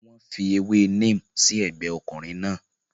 Wọ́n fi ewé neem sí ọgbẹ́ ọkùnrin náà.